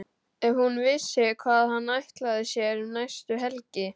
Ef hún vissi hvað hann ætlaði sér um næstu helgi!